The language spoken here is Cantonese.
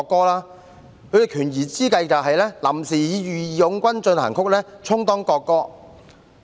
他們的權宜之計是臨時以"義勇軍進行曲"充當國歌。